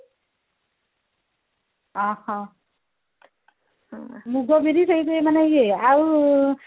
ଅହହୋ ମୁଗ ବିରି ସେଇଠୁ ଏଇ ମାନେ ଇଏ ଆଉ ଇଏ